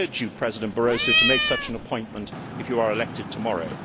I urge you, President Barroso, to make such an appointment if you are elected tomorrow.